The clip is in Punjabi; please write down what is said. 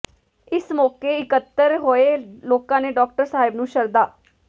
ਇਸ ਮੌਕੇ ਇੱਕਤਰ ਹੋਏ ਲੋਕਾਂ ਨੇ ਡਾਕਟਰ ਸਾਹਿਬ ਨੂੰ ਸ਼ਰਧਾ